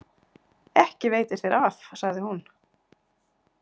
Ekki veitir þér af, sagði hún.